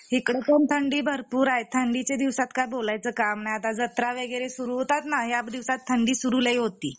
इकडपण थंडी भरपूर आहे थंडीच्या दिवसांत काही बोलायचं काम नाही आता जत्रा वगैरे सुरु होतात ना या दिवसात थंडी सुरु लई होती